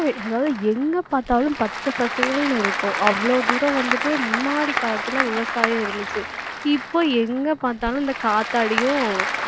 அதாவது எங்க பார்த்தாலும் பச்சை பசேல்னு இருக்கும் அவ்வளவு தூரம் வந்துட்டு முன்னாடி காலத்துல விவசாயம் இருந்துச்சு இப்போ எங்க பார்த்தாலும் இந்த காத்தாடியும்